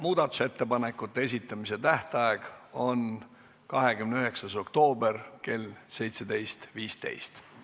Muudatusettepanekute esitamise tähtaeg on 29. oktoober kell 17.15.